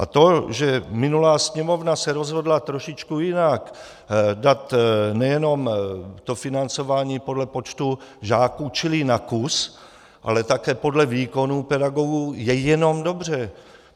A to, že minulá Sněmovna se rozhodla trošičku jinak, dát nejenom to financování podle počtu žáků čili na kus, ale také podle výkonů pedagogů, je jenom dobře.